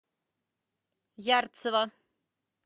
ярцево